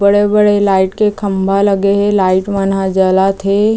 बड़े-बड़े लाइट के खंभा लगे हे लाइट मन ह जलत हे।